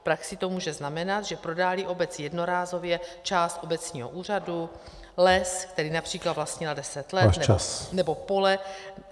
V praxi to může znamenat, že prodá-li obec jednorázově část obecního úřadu, les, který například vlastnila deset let nebo pole...